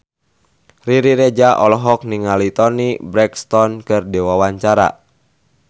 Riri Reza olohok ningali Toni Brexton keur diwawancara